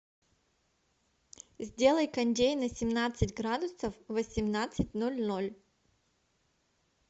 сделай кондей на семнадцать градусов в восемнадцать ноль ноль